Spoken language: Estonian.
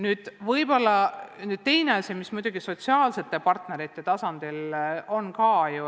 Nüüd sellest, mis puudutab sotsiaalsete partnerite tasandit.